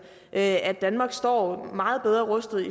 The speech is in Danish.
at danmark står meget bedre rustet